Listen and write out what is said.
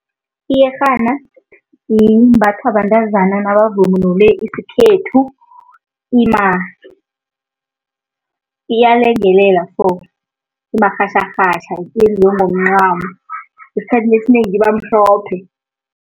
Iyerhana imbathwa bantazana nabavunule isikhethu, iyalengelela so, imarhatjharhatjha, njengemncamo, isikhathi esinengi ibamhlophe.